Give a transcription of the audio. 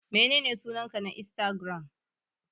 Menene sunanka na insatigiram?